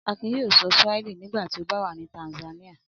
Akin yóò sọ Swahili nígbà tí ó bá wà ní Tanzania.